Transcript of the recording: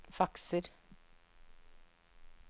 fakser